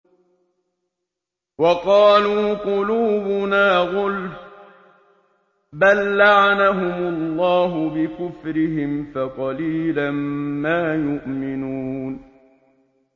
وَقَالُوا قُلُوبُنَا غُلْفٌ ۚ بَل لَّعَنَهُمُ اللَّهُ بِكُفْرِهِمْ فَقَلِيلًا مَّا يُؤْمِنُونَ